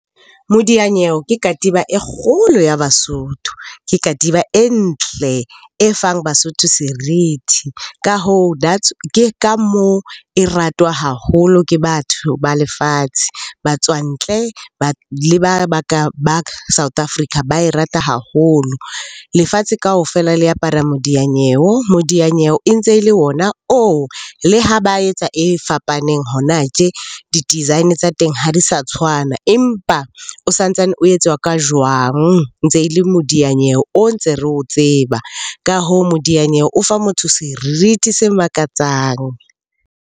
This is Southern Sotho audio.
Modiyanyewe ke katiba e kgolo ya Basotho. Ke katiba e ntle, e fang Basotho serithi. Ka hoo ke ka moo e ratwa haholo ke batho ba lefatshe. Batswantle, ba ba South Africa ba e rata haholo, lefatshe kaofela le apara modiyanyewo. Modiyanyewo e ntse e le ona oo le ha ba etsa e fapaneng hona tje, di-design tsa teng ha di sa tshwana. Empa o sa ntsane o etswa ka jwang, ntse e le modianyewe o ntse re o tseba. Ka hoo, modianyewe o fa motho serithi se makatsang.